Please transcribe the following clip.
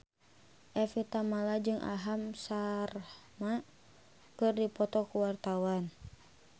Evie Tamala jeung Aham Sharma keur dipoto ku wartawan